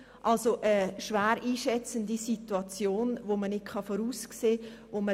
Somit war das eine schwer einschätzbare Situation, die man nicht vorhersehen konnte.